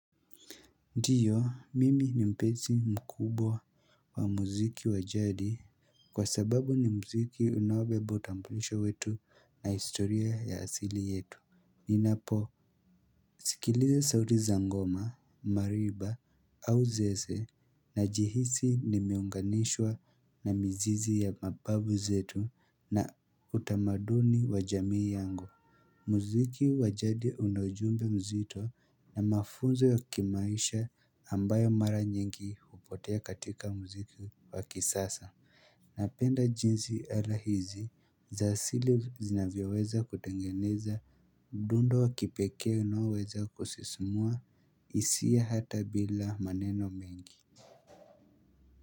Ndiyo, mimi ni mpenzi mkubwa wa muziki wa jadi. Kwa sababu ni muziki unaobeba utambulisho wetu na historia ya asili yetu. Ninapo sikiliza sauti za ngoma, marimba au zeze najihisi nimeunganishwa na mzizi ya mababu zetu na utamaduni wa jamii yangu. Muziki wa jadi una ujumbe mzito na mafunzo ya kimaisha ambayo mara nyingi hupotea katika muziki wa kisasa. Napenda jinsi ala hizi, za asili zinavyoweza kutengeneza, mdundo wa kipekee unaoweza kusismua, hisia hata bila maneno mengi.